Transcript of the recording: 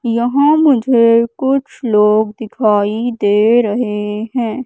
यहां मुझे कुछ लोग दिखाई दे रहे हैं।